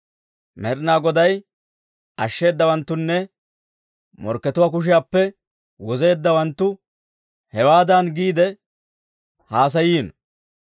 Med'inaa Goday ashsheedawanttunne, morkkatuwaa kushiyaappe wozeeddawanttu, hewaadan giide haasayino.